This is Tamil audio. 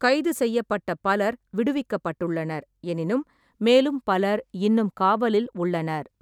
கைது செய்யப்பட்ட பலர் விடுவிக்கப்பட்டுள்ளனர், எனினும் மேலும் பலர் இன்னும் காவலில் உள்ளனர்.